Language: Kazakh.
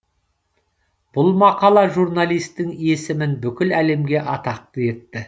бұл мақала журналистің есімін бүкіл әлемге атақты етті